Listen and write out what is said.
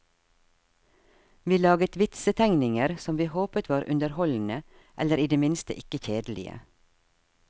Vi laget vitsetegninger som vi håpet var underholdende, eller i det minste ikke kjedelige.